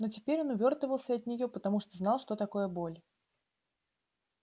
но теперь он увёртывался от неё потому что знал что такое боль